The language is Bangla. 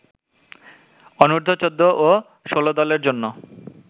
অনুর্ধ-১৪ ও ১৬ দলের জন্য